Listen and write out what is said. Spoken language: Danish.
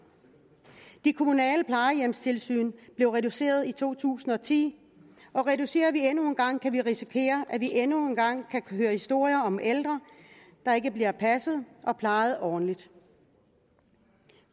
de kommunale plejehjemstilsyn blev reduceret i to tusind og ti og reducerer vi endnu en gang kan vi risikere at vi endnu en gang kan høre historier om ældre der ikke bliver passet og plejet ordentligt